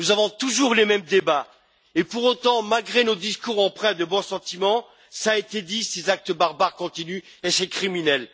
Nous avons toujours les mêmes débats et, pour autant, malgré nos discours empreints de bons sentiments, cela a été dit, ces actes barbares continuent et c'est criminel.